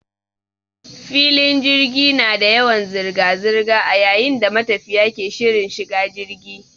Filin jirgi na da yawan zirga zirga a yayin da matafiya ke shirin shiga jigi.